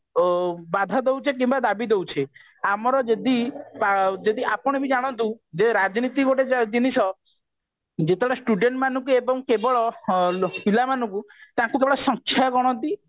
ବାଧା ଦଉଛେ କିମ୍ବା ଦାବି ଦଉଛେ ଆମର ଯଦି ଯଦି ଆପଣ ବି ଜାଣନ୍ତୁ ଯେ ରାଜନୀତି ଗୋଟେ ଜିନିଷ ଯେତେବେଳେ student ମାନଙ୍କୁ ଏବଂ କେବଳ ପିଲାମାନଙ୍କୁ ତାକୁ କେବଳ ସଂଖ୍ୟା ଗଣତି